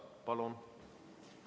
Palun!